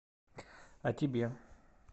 о тебе